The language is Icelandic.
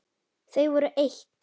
Þau voru eitt.